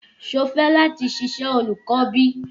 Ṣé o fẹ láti ṣiṣẹ́ olùkọ́ bí?